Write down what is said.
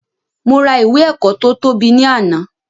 Mo ra ìwé ẹ̀kọ́ to tóbi ni àná